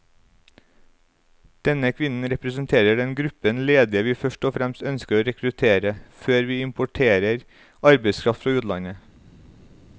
Denne kvinnen representerer den gruppen ledige vi først og fremst ønsker å rekruttere, før vi importerer arbeidskraft fra utlandet.